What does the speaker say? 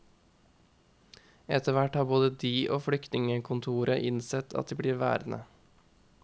Etterhvert har både de og flyktningekontoret innsett at de blir værende.